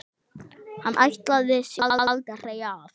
Hann ætlaði sér aldrei af.